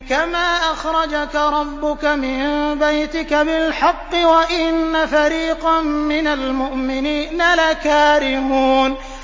كَمَا أَخْرَجَكَ رَبُّكَ مِن بَيْتِكَ بِالْحَقِّ وَإِنَّ فَرِيقًا مِّنَ الْمُؤْمِنِينَ لَكَارِهُونَ